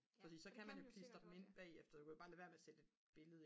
fordi så kan man jo klistre dem ind bagefter du kan jo bare lade være med at sætte et billede